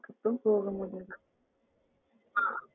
ஊருக்கு போகும் போது